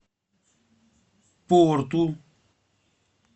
порту